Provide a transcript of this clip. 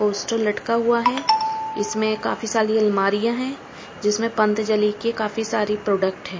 Poster लटका हुआ है इसमें काफी साली अलमारियां है जिसमें पंथजली के काफी सारी प्रोडक्ट है।